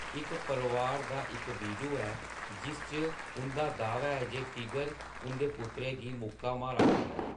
इक परोआर दा इक वीडियो ऐ जिस च उं'दा दावा ऐ जे "टिगर" उं'दे पुत्तर गी मुक्का मारा'रदा ऐ।